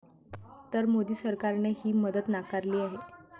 तरी मोदी सरकारने ही मदत नाकारली आहे.